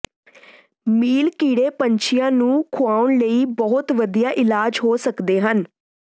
ਮੀਲ ਕੀੜੇ ਪੰਛੀਆਂ ਨੂੰ ਖੁਆਉਣ ਲਈ ਬਹੁਤ ਵਧੀਆ ਇਲਾਜ ਹੋ ਸਕਦੇ ਹਨ